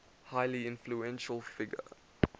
highly influential figure